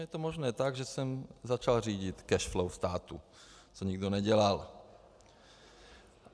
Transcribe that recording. Je to možné tak, že jsem začal řídit cash flow státu, co nikdo nedělal.